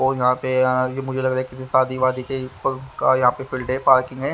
और यहां पे ये मुझे लग रहा है कि यह शादीवादी के कार्य यहां पे फील्ड है पार्किंग है।